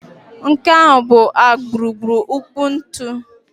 Nke ahụ bụ a gburugburu nkpu ntu